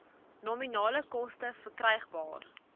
nominale koste verkrygbaar